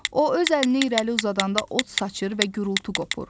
O öz əlini irəli uzadanda od saçır və gurultu qopur.